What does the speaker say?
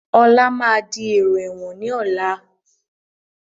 Ọlá máa di èrò ẹ̀wọ̀n ni ọ̀la